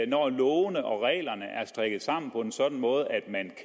når lovene og reglerne er strikket sammen på en sådan måde at man